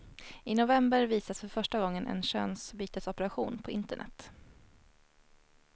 I november visas för första gången en könsbytesoperation på internet.